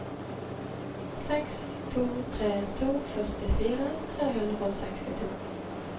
seks to tre to førtifire tre hundre og sekstito